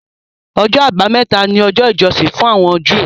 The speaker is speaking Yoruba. Ọjọ́ Àbámẹ́ta ni ọjọ́ ìjọsìn fún àwọn Júù